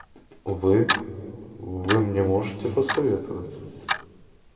вы вы мне можете посоветовать